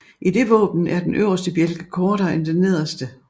I det våben er den øverste bjælke kortere end den nederste